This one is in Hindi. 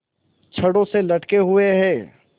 छड़ों से लटके हुए हैं